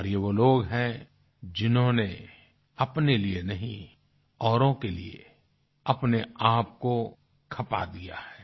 और ये वो लोग हैं जिन्होंने अपने लिए नहीं औरों के लिए अपने आप को खपा दिया है